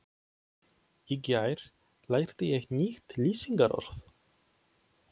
Í gær lærði ég nýtt lýsingarorð.